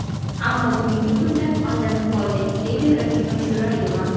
Ammo bugungi kunda aldanib qoldik, deydi Rahima Jo‘rayeva.